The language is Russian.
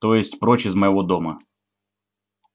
то есть прочь из моего дома